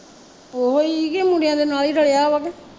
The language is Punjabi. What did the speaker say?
ਓਹੀ ਕੀ ਮੁੰਡਿਆ ਦੇ ਨਾਲ਼ ਈ ਰਲਿਆ ਵਾ ਕਿ